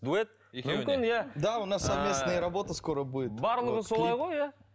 дуэт екеуіне барлығы солай ғой иә